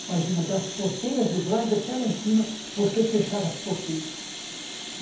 Imagina, das porteiras do Brás até lá em cima, porque fecharam as porteiras.